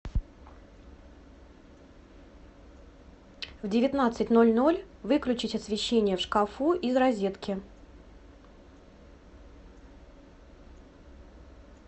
в девятнадцать ноль ноль выключить освещение в шкафу из розетки